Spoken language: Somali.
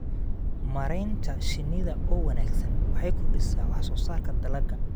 Maareynta shinnida oo wanaagsan waxay kordhisaa wax soo saarka dalagga.